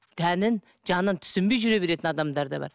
тәнін жанын түсінбей жүре беретін адамдар да бар